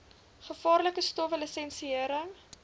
gevaarlike stowwe lisensiëring